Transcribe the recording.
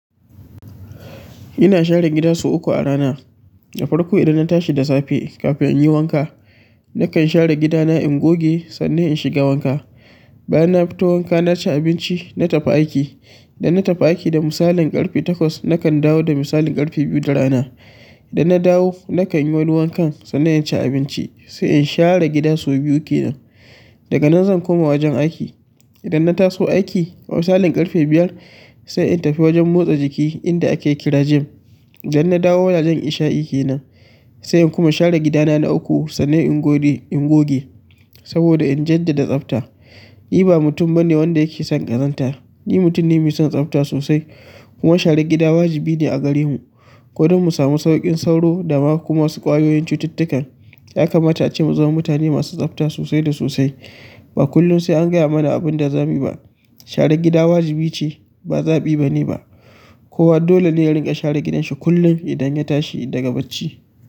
Ina share gida sau uku a rana. Da farko idan na tashi da safe kafin in yi wanka, nakan share gida na in goge sannan in shiga wanka. Bayan na fita wanka na ci abinci, na tafi aiki. Idan na tafi aiki da misalin ƙarfe takwas nakan dawo da misalin ƙarfe biyu da rana. Idan na dawo nakan yi wani wankan sannan in ci abinci sai in share gida sau biyu kenan. Daga nan zan koma wajen aiki. Idan na taso aiki a misalin ƙarfe biyar sai in tafi wajen motsa jiki inda ake kira gym. Idan nadawo wa jan isha'i kenan sai in kuma share gida na na uku sannan in gode in goge saboda in jaddada tsafta. Ni ba mutum bane wanda yake son ƙazanta. Ni mutum ne mai son tsafta sosai kuma share gida wajibi ne a gare mu. Ko don mu samu sauƙin sauro da kuma wasu ƙwayoyin cututtukan. Ya kamata ace mu zama mutane masu tsafta sosai da sosai. Ba kullum sai an gaya mana abin da za mu yi ba. Share gida wajibi ce ba zaɓi bane ba. Kowa dole ne ya ringa share gidanshi kullum idan ya tashi daga bacci.